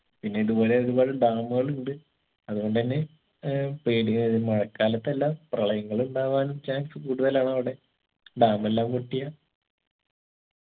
പിന്നെ ഇതുപോലെ ഒരുപാട് dam കളുണ്ട് അത്കൊണ്ടന്നെ ഏർ പേടിവരും മഴക്കാലത്തെല്ലാം പ്രളയങ്ങളുണ്ടാവാനും chance കൂടുതലാണവിടെ dam എല്ലാം പൊട്ടിയാ